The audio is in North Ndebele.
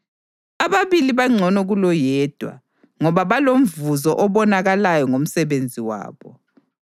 Ababili bangcono kuloyedwa, ngoba balomvuzo obonakalayo ngomsebenzi wabo.